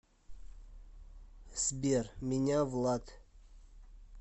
сбер меня влад